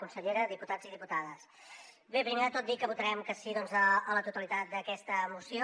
consellera diputats i diputades bé primer de tot dir que votarem que sí doncs a la totalitat d’aquesta moció